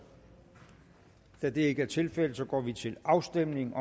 da det ikke er tilfældet går vi til afstemning